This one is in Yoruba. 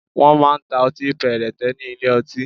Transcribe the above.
Wọ́n máa ń ta ọtí péréte ní ilé ọtí